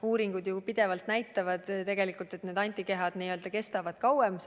Uuringud ju pidevalt näitavad, et tegelikult need antikehad kestavad kauem.